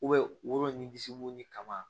woro ni disi wo ni kaba